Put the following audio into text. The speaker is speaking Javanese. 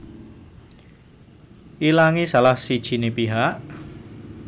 Ilangé salah sijiné pihak